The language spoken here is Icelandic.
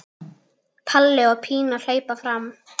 Palli og Pína hlaupa fram.